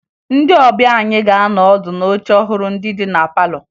Ndị ọbịa anyị ga-anọ ọdụ n'oche ọhụrụ ndị dị na palọ